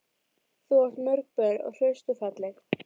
Þú átt mörg börn, hraust og falleg.